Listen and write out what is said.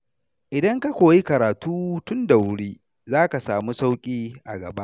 Idan ka koyi karatu tun da wuri, za ka samu sauƙi a gaba.